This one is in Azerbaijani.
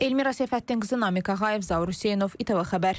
Elmira Səfəddinqızı, Namiq Ağayev, Zaur Hüseynov, İTV xəbər.